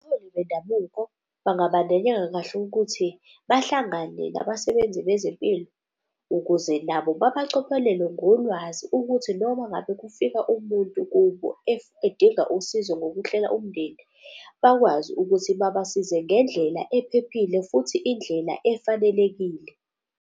Abaholi bendabuko bangabandanyeka kahle ukuthi bahlangane nabasebenzi bezempilo ukuze nabo babacophelele ngolwazi ukuthi noma ngabe kufika umuntu kubo edinga usizo ngokuhlela umndeni bakwazi ukuthi babasize ngendlela ephephile, futhi indlela efanelekile.